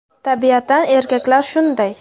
Tabiatan erkaklar shunday!